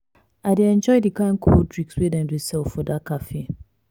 i dey enjoy di kain cold drinks wey dem dey sell for dat cafe.